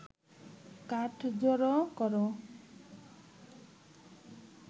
কাঠ জড়ো করে